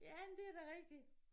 Ja men det da rigtig